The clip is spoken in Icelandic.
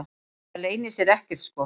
Það leynir sér ekkert sko.